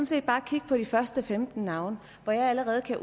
set bare kigge på de første femten navne for allerede at